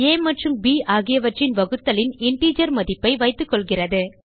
ஆ மற்றும் ப் ஆகியவற்றின் வகுத்தலின் இன்டிஜர் மதிப்பை வைத்துக்கொள்கிறது